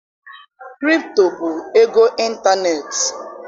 Krpto bụ ego ịntaneetị.